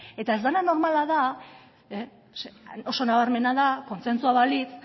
eta ez dena normala da oso nabarmena da kontsentsua balitz